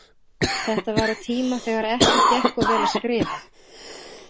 Þetta var á tíma þegar ekki gekk of vel að skrifa.